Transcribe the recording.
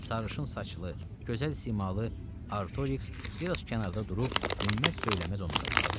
Sarışın saçlı, gözəl simalı Artoriks biraz kənarda durub dinməz-söyləməz onlara baxırdı.